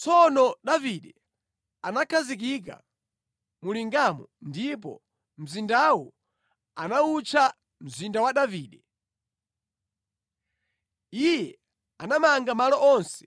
Tsono Davide anakhazikika mu lingamo ndipo mzindawu anawutcha, Mzinda wa Davide. Iye anamanga malo onse